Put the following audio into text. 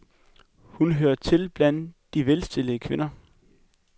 Hun hører til blandt de velstillede kvinder.